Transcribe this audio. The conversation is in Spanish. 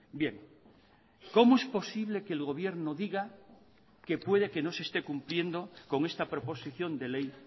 bien cómo es posible que el gobierno diga que puede que no se esté cumpliendo con esta proposición de ley